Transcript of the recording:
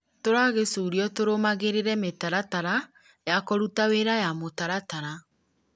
tũragĩcũrio tũrũmagĩrĩre mĩtaratara ya kũruta wĩra ya mũtaratara